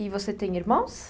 E você tem irmãos?